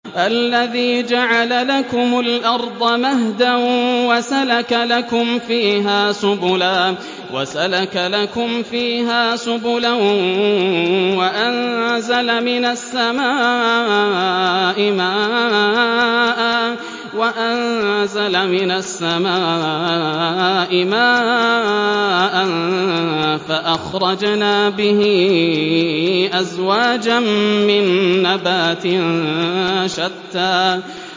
الَّذِي جَعَلَ لَكُمُ الْأَرْضَ مَهْدًا وَسَلَكَ لَكُمْ فِيهَا سُبُلًا وَأَنزَلَ مِنَ السَّمَاءِ مَاءً فَأَخْرَجْنَا بِهِ أَزْوَاجًا مِّن نَّبَاتٍ شَتَّىٰ